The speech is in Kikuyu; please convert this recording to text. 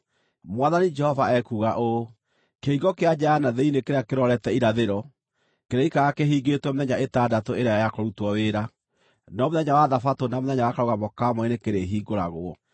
“ ‘Mwathani Jehova ekuuga ũũ: Kĩhingo kĩa nja ya na thĩinĩ kĩrĩa kĩrorete irathĩro kĩrĩikaraga kĩhingĩtwo mĩthenya ĩtandatũ ĩrĩa ya kũrutwo wĩra, no mũthenya wa Thabatũ na mũthenya wa Karũgamo ka Mweri nĩkĩrĩhingũragwo.